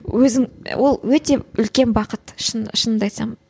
өзің ол өте үлкен бақыт шын шынымды айтсам